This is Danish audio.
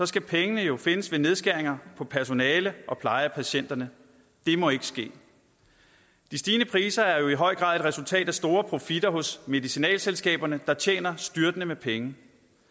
skal pengene jo findes ved nedskæringer på personale og pleje af patienterne det må ikke ske de stigende priser er jo i høj grad et resultat af store profitter hos medicinalselskaberne der tjener styrtende med penge